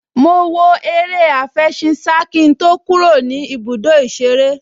Mo wo eré àfẹṣinsá kí n tó kúrò ní ibùdó ìṣeré